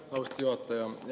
Aitäh, austatud juhataja!